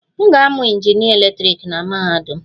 M ga-amụ injinịa eletrik na mahadum.